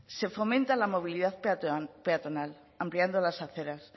se fomenta la movilidad peatonal ampliando las aceras